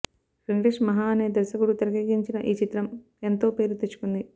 వెంకటేష్ మహా అనే దర్శకుడు తెరకెక్కించిన ఈ చిత్రం ఎంతో పేరు తెచ్చుకుంది